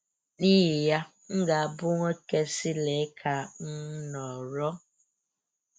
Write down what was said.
N’ihi ya, m ga-abụ nwoke sị lee ka um m nọrọ